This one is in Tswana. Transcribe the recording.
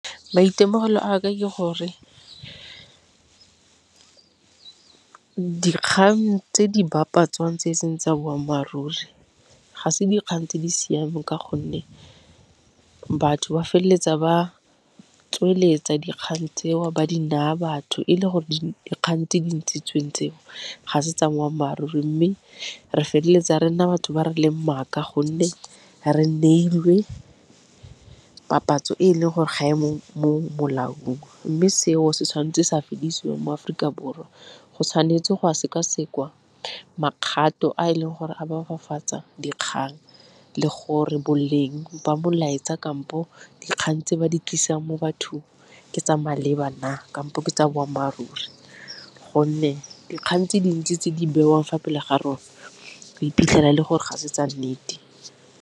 Maitemogelo a ka ke gore dikgang tse di bapatswa tse e seng tsa boammaaruri ga se dikgang tse di siameng, ka gonne batho ba feleletsa ba tsweletsa dikgang tseo ba di naya batho e le gore dikgang tse dintshitsweng tseo ga se tsa boammaaruri. Mme re feleletsa re nna batho ba re leng maaka gonne re neilwe papatso e leng gore ga e mo molaong, mme seo se tshwanetse se ka fedisiwa mo Aforika Borwa. Go tshwanetse go a sekasekwa makgato a e leng gore a dikgang le gore boleng ba molaetsa, kampo dikgang tse ba di tlisang mo bathong ke tsa maleba na, kampo ke tsa boammaaruri gonne dikgang tse dintsi tse di bewang fa pele ga rona o iphitlhela e le gore ga se tsa nnete.